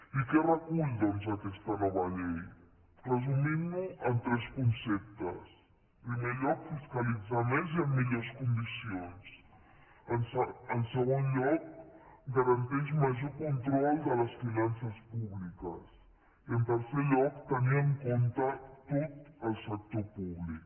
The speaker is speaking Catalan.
i què recull doncs aquesta nova llei resumintho en tres conceptes en primer lloc fiscalitzar més i en millors condicions en segon lloc garanteix major control de les finances públiques i en tercer lloc tenir en compte tot el sector públic